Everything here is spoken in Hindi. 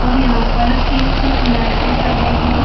और यहां पर एक नाटक कर रही--